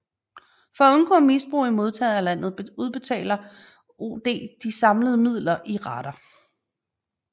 For at undgå misbrug i modtagerlandet udbetaler OD de indsamlede midler i rater